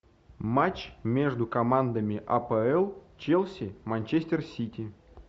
матч между командами апл челси манчестер сити